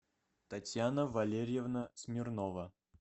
татьяна валерьевна смирнова